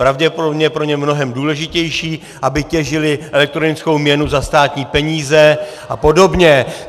Pravděpodobně je pro ně mnohem důležitější, aby těžili elektronickou měnu za státní peníze a podobně.